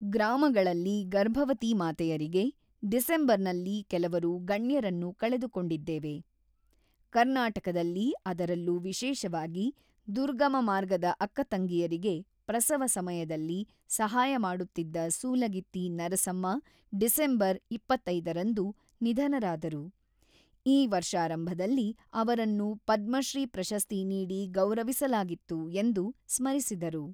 ಗ್ರಾಮಗಳಲ್ಲಿ ಗರ್ಭವತಿ ಮಾತೆಯರಿಗೆ "ಡಿಸೆಂಬರ್‌ನಲ್ಲಿ ಕೆಲವರು ಗಣ್ಯರನ್ನು ಕಳೆದುಕೊಂಡಿದ್ದೇವೆ ; ಕರ್ನಾಟಕದಲ್ಲಿ ಅದರಲ್ಲೂ ವಿಶೇಷವಾಗಿ ದುರ್ಗಮ ಮಾರ್ಗದ ಅಕ್ಕ ತಂಗಿಯರಿಗೆ ಪ್ರಸವ ಸಮಯದಲ್ಲಿ ಸಹಾಯ ಮಾಡುತ್ತಿದ್ದ ಸೂಲಗಿತ್ತಿ ನರಸಮ್ಮ ಡಿಸೆಂಬರ್ ಇಪ್ಪತ್ತೈದು ರಂದು ನಿಧನರಾದರು ; ಈ ವರ್ಷಾರಂಭದಲ್ಲಿ ಅವರನ್ನು ಪದಶ್ರೀ ಪ್ರಶಸ್ತಿ ನೀಡಿ ಗೌರವಿಸಲಾಗಿತ್ತು" ಎಂದು ಸ್ಮರಿಸಿದರು.